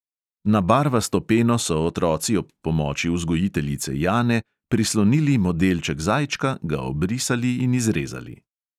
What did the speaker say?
Na barvasto peno so otroci ob pomoči vzgojiteljice jane prislonili modelček zajčka, ga obrisali in izrezali.